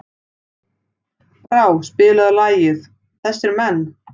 Brá, spilaðu lagið „Þessir Menn“.